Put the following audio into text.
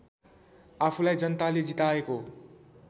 आफूलाई जनताले जिताएको